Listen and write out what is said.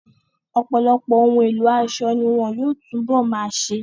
Ọ̀pọ̀lọpọ̀ ohun èlò aṣọ ni wọn yóò tún bọ̀ máa ṣe.